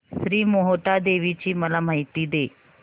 श्री मोहटादेवी ची मला माहिती दे